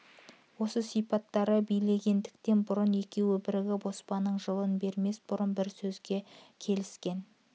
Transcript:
осы сипаттары билегендіктен бұрын екеуі бірігіп оспанның жылын бермес бұрын бір сөзге ебден келіскен